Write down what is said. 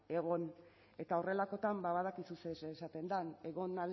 egon eta horrelakoetan badakizu zer esaten den egon